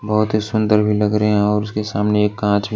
बहुत ही सुंदर भी लग रहे हैं और उसके सामने एक कांच--